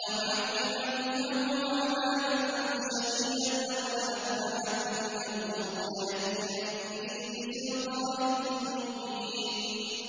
لَأُعَذِّبَنَّهُ عَذَابًا شَدِيدًا أَوْ لَأَذْبَحَنَّهُ أَوْ لَيَأْتِيَنِّي بِسُلْطَانٍ مُّبِينٍ